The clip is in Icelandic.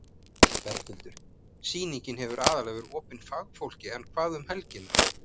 Berghildur: Sýningin hefur aðallega verið opin fagfólki en hvað um helgina?